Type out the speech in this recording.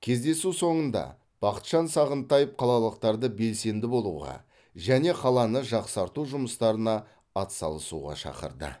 кездесу соңында бақытжан сағынтаев қалалықтарды белсенді болуға және қаланы жақсарту жұмыстарына атсалысуға шақырды